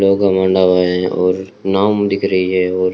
और नाम लिख रही है और--